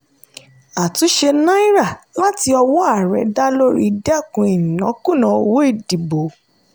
àtúnṣe náírà láti ọwọ́ ààrẹ dá lórí dẹ́kun ìnákúùná owó ìdìbò.